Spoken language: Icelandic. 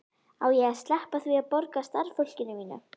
Á ég að sleppa því að borga starfsfólkinu mínu?